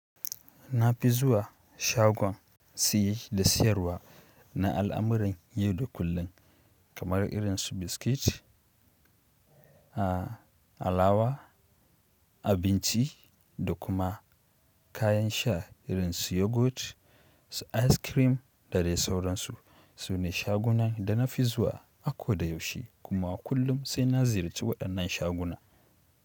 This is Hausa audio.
Na fi zuwa shagon siye da siyarwa na al’amuran yau da kullum kamar irin su biskit, a alawa, abinci da kuma kayan sha irin su yogurt, su ice cream da dai sauransu. Sune shagunan da na fi zuwa. A ko da yaushe kuma kullum sai na ziyarci waɗannan shaguna.